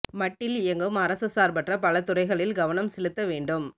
மட்டில் இயங்கும் அரச சார்பற்ற பல துறைகளில் கவனம் செலுத்த வேண்டும்